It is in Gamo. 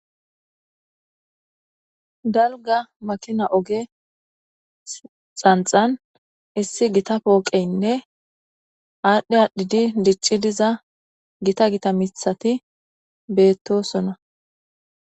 Dalgga maakina ogge xanxxan issi giita pooqeynne adhdhi adhiddi diccidi diiza gitta gitta miththati beetossona.